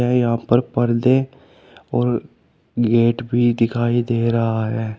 यहां पर पर्दे और गेट भी दिखाई दे रहा है।